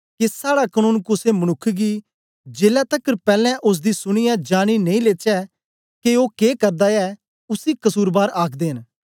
के साड़ा कनून कुसे मनुक्ख गी जेलै तकर पैलैं ओसदी सुनीयै जानी नेई लेचै के ओ के करदा ऐ उसी कसुरबार आखदे न